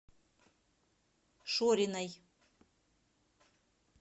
шориной